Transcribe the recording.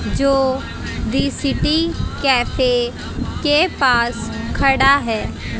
जो the city cafe के पास खड़ा है।